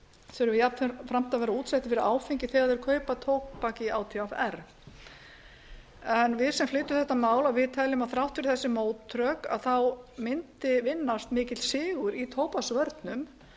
þurfi jafnframt að vera útsettir fyrir áfengi þegar þeir kaupa tóbak í átvr við sem flytjum þetta mál teljum að þrátt fyrir þessi mótrök mundi vinnast mikill sigur í tóbaksvörnum